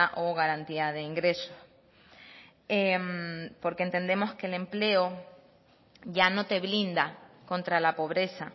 o garantía de ingreso porque entendemos que el empleo ya no te blinda contra la pobreza